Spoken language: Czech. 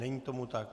Není tomu tak.